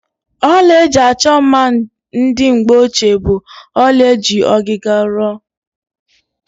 Ọla eji achọ mma ndị mgbeochie bụ ọla eji ọgịga rụọ.